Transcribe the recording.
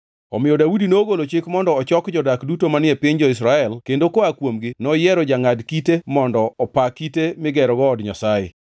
Omiyo Daudi nogolo chik mondo ochok jodak duto manie piny jo-Israel kendo koa kuomgi noyiero jangʼad kite mondo opa kite migerogo od Nyasaye.